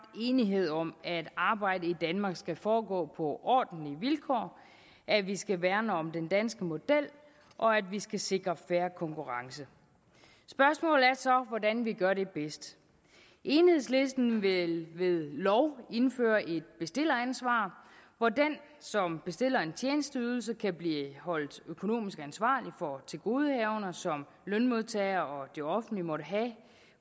enighed om at arbejde i danmark skal foregå på ordentlige vilkår at vi skal værne om den danske model og at vi skal sikre fair konkurrence spørgsmålet er så hvordan vi gør det bedst enhedslisten vil ved lov indføre et bestilleransvar hvor den som bestiller en tjenesteydelse kan blive holdt økonomisk ansvarlig for tilgodehavender som lønmodtager og det offentlige måtte have